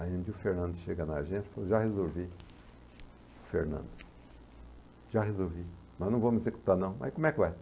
Aí o Fernando chega na agência e falou, já resolvi, o Fernando, já resolvi, nós não vamos executar não, mas como é que vai?